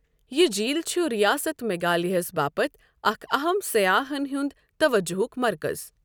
یہِ جھیٖل چھُ رِیاست میگھالیہَس باپتھ اکھ اَہَم سیاحن ہُنٛد توجہُک مرکز۔